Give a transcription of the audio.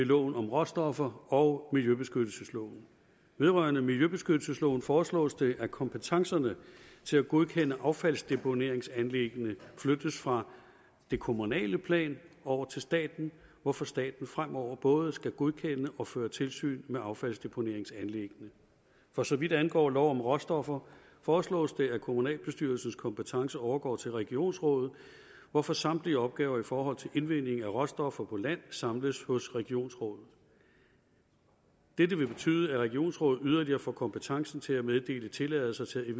loven om råstoffer og miljøbeskyttelsesloven vedrørende miljøbeskyttelsesloven foreslås det at kompetencerne til at godkende affaldsdeponeringsanlæggene flyttes fra det kommunale plan over til staten hvorfor staten fremover både skal godkende og føre tilsyn med affaldsdeponeringsanlæggene for så vidt angår lov om råstoffer foreslås det at kommunalbestyrelsens kompetence overgår til regionsrådet hvorfor samtlige opgaver i forhold til indvinding af råstoffer på land samles hos regionsrådet dette vil betyde at regionsrådet yderligere får kompetencen til at meddele tilladelse til